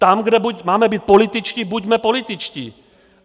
Tam, kde máme být političtí, buďme političtí.